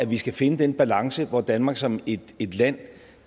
vi skal finde den balance hvor danmark som et land